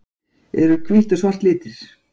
Eru hvítt og svart litir?